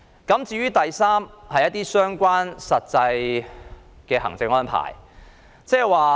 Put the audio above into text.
第三，是相關的實際行政安排。